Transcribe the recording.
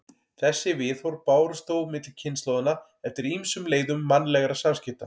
Þessi viðhorf bárust þó milli kynslóðanna eftir ýmsum leiðum mannlegra samskipta.